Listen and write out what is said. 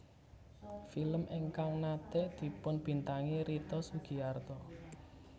Film ingkang naté dipunbintangi Rita Sugiarto